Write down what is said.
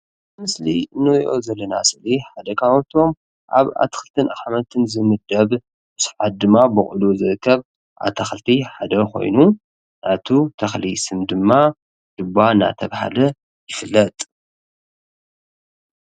ኣብዚ ምስሊ እንርእዮ ዘለና ሰእሊ ሓደ ካብቶም ኣብ ኣትክልትን ኣሕምልትን ዝምደብ ብ ሰዓት ድማ ቦቂሉ ዝእከብ ኣታክልቲ ሓደ ኮይኑ ናይቲ ተክሊ ስም ድማ ዱባ እንዳተባሃለ ይፍለጥ።